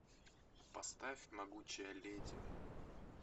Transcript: поставь могучая леди